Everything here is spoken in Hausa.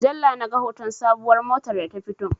A mujalla na ga hoton sabuwar motar da ta fito